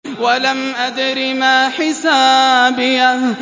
وَلَمْ أَدْرِ مَا حِسَابِيَهْ